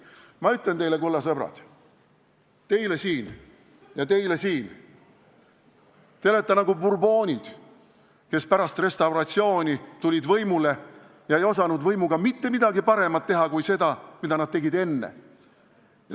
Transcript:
Ma ütlen teile, kulla sõbrad – teile siin ja teile siin –, et te olete nagu Bourbonid, kes pärast restauratsiooni tulid võimule ja ei osanud võimuga mitte midagi paremat teha kui seda, mida nad olid teinud enne.